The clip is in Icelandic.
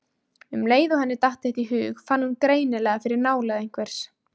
Um leið og henni datt þetta í hug fann hún greinilega fyrir nálægð einhvers.